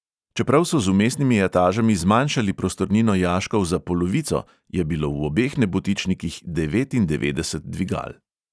Čeprav so z vmesnimi etažami zmanjšali prostornino jaškov za polovico, je bilo v obeh nebotičnikih devetindevetdeset dvigal.